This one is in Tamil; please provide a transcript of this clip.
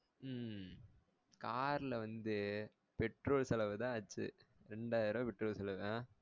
உம் car ல வந்து petrol செலவுதான் ஆச்சி ரெண்டாயிர ரூவா petrol செலவு ஆஹ்